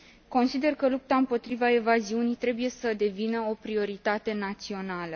Consider că lupta împotriva evaziunii trebuie să devină o prioritate națională.